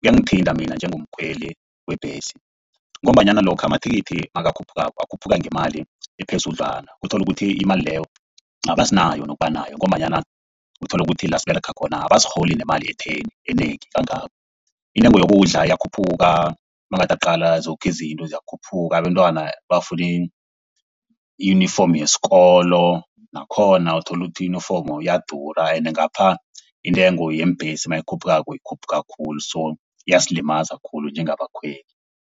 kuyangithinta mina njengomkhweli webhesi ngombanyana lokha amathikithi nakakhuphukako akhuphuka ngemali ephezulu khudlwana. Uthola ukuthi imali leyo asinayo nokuba nayo ngombanyana uthola ukuthi la siberega khona abarholi nemali etheni enengi kangako. Intengo yokudla iyakhuphuka nawungathi uyaqala, zoke izinto ziyakhuphuka. Abentwana bafuni i-uform yesikolo nakhona uthola ukuthi ne-uniform iyadura. Ende ngapha intengo yeembhesi nayikhuphukako ikhuphuka khulu. So iyasilimaza khulu njengabakhweli.